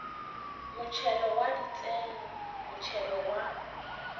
motšhelo wa ditseno motšhelo wa